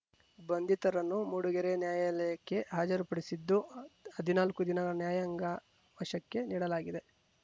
ಬಂಧಿತರನ್ನು ಮೂಡಿಗೆರೆ ನ್ಯಾಯಾಲಯಕ್ಕೆ ಹಾಜರುಪಡಿಸಿದ್ದು ಹದಿನಾಲ್ಕು ದಿನ ನ್ಯಾಯಾಂಗ ವಶಕ್ಕೆ ನೀಡಲಾಗಿದೆ